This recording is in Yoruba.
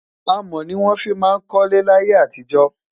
amò ní wọn fí má kólé láyé àtijọ